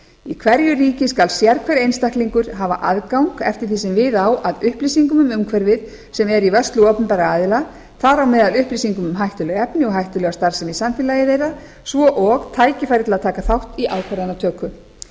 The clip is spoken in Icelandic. í hverju ríki skal sérhver einstaklingur hafa aðgang eftir því sem við á að upplýsingum um umhverfið sem eru í vörslu opinberra aðila þar á meðal upplýsingum um hættuleg efni og hættulega starfsemi í samfélagi þeirra svo og tækifæri til að taka þátt í ákvarðanatöku